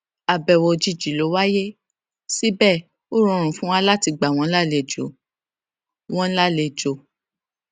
àbẹwò òjìjì ló wáyé síbẹ ó rọrùn fún wa láti gbà wọn lálejọ wọn lálejọ